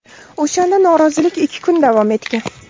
O‘shanda norozilik ikki kun davom etgan.